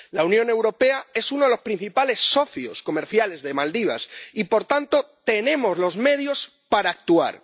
La Unión Europea es uno de los principales socios comerciales de Maldivas y, por tanto, tenemos los medios para actuar.